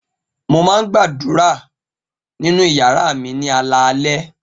Mo máa ń gbàdúrà nínú ìyàrá mi ní alaalẹ́.